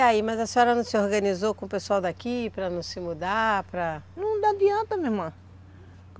E aí, mas a senhora não se organizou com o pessoal daqui para não se mudar, para... Não dá adianta, minha irmã.